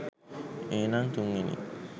ඒනං තුන්වෙනි